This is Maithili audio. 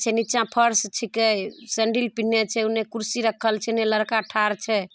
से नीचे फर्श छके सैंडल पेन्हले छे ओने कुर्सी रखल छे एने लड़का ठार छे।